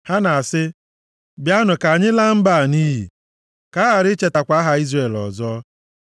Ha na-asị, “Bịanụ ka anyị laa mba a nʼiyi, ka a ghara ichetakwa aha Izrel ọzọ.”